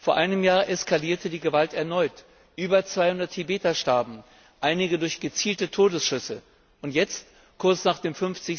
Vor einem Jahr eskalierte die Gewalt erneut. Über 200 Tibeter starben, einige durch gezielte Todesschüsse, und jetzt kurz nach dem